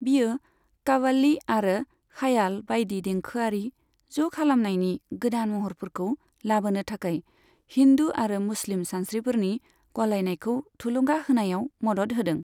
बियो काव्वाली आरो ख्याल बायदि देंखोआरि ज' खालामनायनि गोदान महरफोरखौ लाबोनो थाखाय हिन्दु आरो मुस्लिम सानस्रिफोरनि गलायनायखौ थुलुंगा होनायाव मदद होदों।